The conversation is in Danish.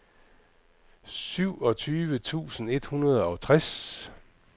syvogtyve tusind et hundrede og tres